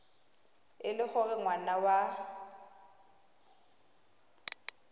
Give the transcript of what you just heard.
e le gore ngwana wa